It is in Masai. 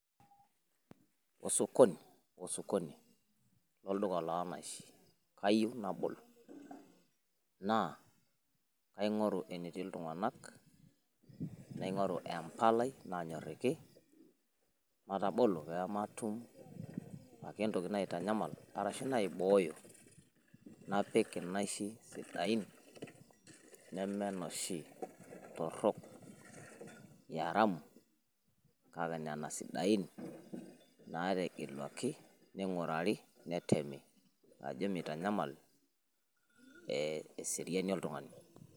Osokoni, osokoni lolduka loo naishi kayeiu nabol. Naa kaing`oru enetii iltung`anak naing`oru empalai naanyorriki matabolo pee matum ake entoki naitanyamal arashu naibooyo. Napik inaishi sidain neme noshi torrok e aramu kake nena sidai naategeluaki neing`urari netemi ajo meitanyamal eseriani oltung`ani.